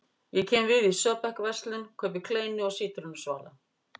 Ég kem við í Söebechsverslun, kaupi kleinu og sítrónusvala.